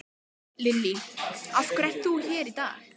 Lillý: Af hverju ert þú hér í dag?